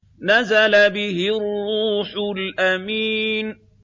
نَزَلَ بِهِ الرُّوحُ الْأَمِينُ